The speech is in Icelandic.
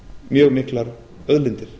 mjög miklar auðlindir